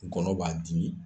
Gɔnɔ b'a dimi .